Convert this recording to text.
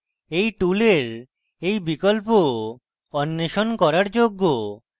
এই টুলের এই বিকল্প অন্বেষণ করার যোগ্য